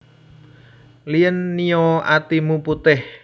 Lien Nio atimu putih